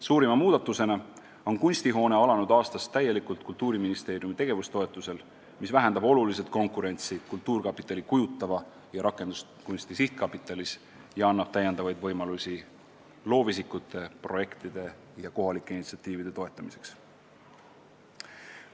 Suurima muudatusena tegutseb Kunstihoone alanud aastast täielikult Kultuuriministeeriumi tegevustoetuse alusel, mis vähendab oluliselt konkurentsi Eesti Kultuurkapitali kujutava ja rakenduskunsti sihtkapitalis ja annab täiendavaid võimalusi loovisikute, projektide ja kohalike initsiatiivide toetamiseks.